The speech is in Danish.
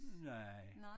Nej